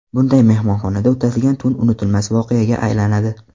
Bunday mehmonxonada o‘tadigan tun unutilmas voqeaga aylanadi.